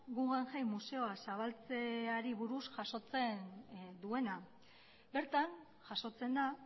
guggenheim museoa zabaltzeari buruz jasotzen duena bertan jasotzen da